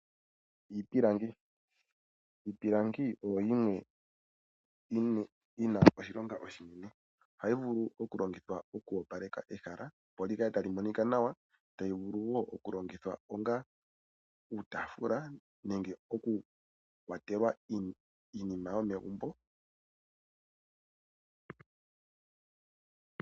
Iipilingi, iipilingi oyo yimwe yi na oshilonga oshinene . Oha yi vulu oku longithwa oku opaleka ehala, opo li kale ta li monika nawa , ta yi vulu wo oku longithwa onga uutaafula nenge oku kwatelwa iinima yomegumbo.